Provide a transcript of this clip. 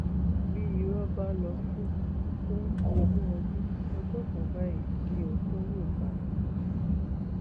bí irọ bá lọ fún fún ogún ọdún ọjọ kan báyìí ni òótọ yóò bá a